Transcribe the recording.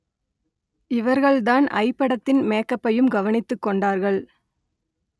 இவர்கள்தான் ஐ படத்தின் மேக்கப்பையும் கவனித்துக் கொண்டார்கள்